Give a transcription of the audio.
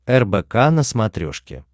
рбк на смотрешке